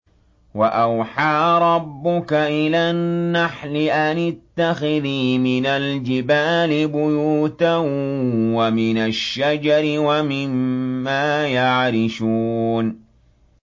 وَأَوْحَىٰ رَبُّكَ إِلَى النَّحْلِ أَنِ اتَّخِذِي مِنَ الْجِبَالِ بُيُوتًا وَمِنَ الشَّجَرِ وَمِمَّا يَعْرِشُونَ